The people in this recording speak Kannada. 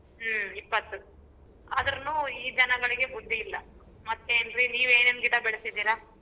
ಹ್ಮ್ ಇಪ್ಪತ್ತು ಆದೃನು ಈ ಜನಗಳಿಗೆ ಬುದ್ದಿ ಇಲ್ಲ ಮತ್ತೆನ್ರಿ ನೀವ್ ಏನೇನ್ ಗಿಡ ಬೆಳೆಸಿದಿರಾ.